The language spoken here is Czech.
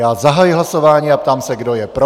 Já zahajuji hlasování a ptám se, kdo je pro.